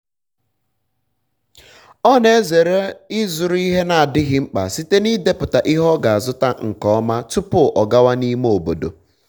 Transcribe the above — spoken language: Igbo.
ọ na-ezere ịzụrụ ihe na-adịghị mkpa site n'ịdepụta ihe ọ ga-azụta nke ọma tupu ọ gawa n'ime obodo